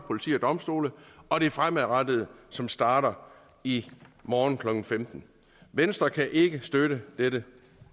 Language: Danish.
politi og domstole og det fremadrettede som starter i morgen klokken femtende venstre kan ikke støtte dette